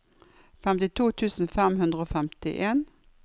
femtito tusen fem hundre og femtien